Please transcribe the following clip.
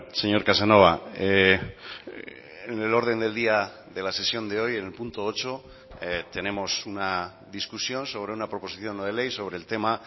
señor casanova en el orden del día de la sesión de hoy en el punto ocho tenemos una discusión sobre una proposición no de ley sobre el tema